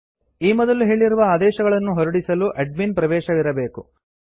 ಈ ಮೊದಲು ಹೇಳಿರುವ ಆದೇಶಗಳನ್ನು ಹೊರಡಿಸಲು ಅಡ್ಮಿನ್ ಪ್ರವೇಶವಿರಬೇಕು